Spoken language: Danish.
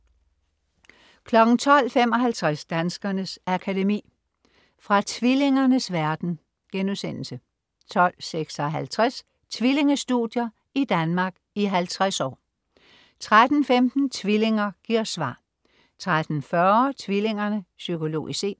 12.55 Danskernes Akademi. Fra tvillingernes verden* 12.56 Tvillingestudier i Danmark i 50 år* 13.15 Tvillinger giver svar* 13.40 Tvillingerne. Psykologisk set*